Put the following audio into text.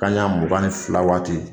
Kanɲɛ mugan ni fila waati